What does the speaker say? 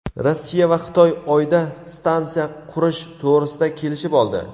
Rossiya va Xitoy Oyda stansiya qurish to‘g‘risida kelishib oldi.